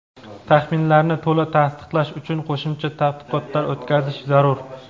taxminlarni to‘la tasdiqlash uchun qo‘shimcha tadqiqotlar o‘tkazish zarur.